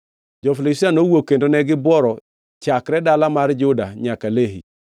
Jo-Filistia nowuok kendo ne gibworo chakre dala mar Juda nyaka Lehi.